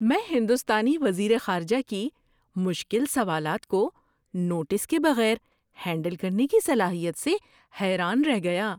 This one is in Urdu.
میں ہندوستانی وزیر خارجہ کی مشکل سوالات کو نوٹس کے بغیر ہینڈل کرنے کی صلاحیت سے حیران رہ گیا!